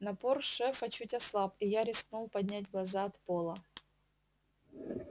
напор шефа чуть ослаб и я рискнул поднять глаза от пола